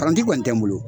Paranti kɔni tɛ n bolo